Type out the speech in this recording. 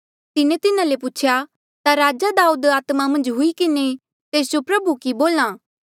तिन्हें तिन्हा ले पूछेया ता राजा दाऊदे आत्मा मन्झ हुई किन्हें तेस जो प्रभु कि बोल्हा आ कि